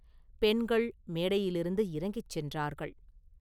பெண்கள் மேடையிலிருந்து இறங்கிச் சென்றார்கள்.